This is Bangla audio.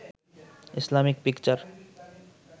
Islamic picture